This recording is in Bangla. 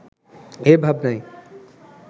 এ ভাবনাই